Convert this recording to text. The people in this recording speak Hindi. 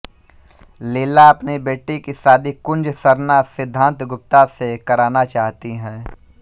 लीला अपनी बेटी की शादी कुंज सरना सिद्धान्त गुप्ता से कराना चाहती है